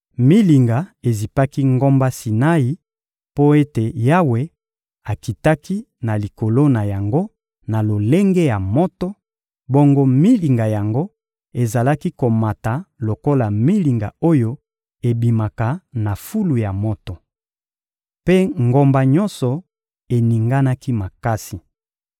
Milinga ezipaki ngomba Sinai mpo ete Yawe akitaki na likolo na yango na lolenge ya moto, bongo milinga yango ezalaki komata lokola milinga oyo ebimaka na fulu ya moto. Mpe ngomba nyonso eninganaki makasi.